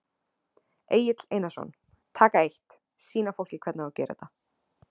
Egill Einarsson: Taka eitt, sýna fólki hvernig á að gera þetta?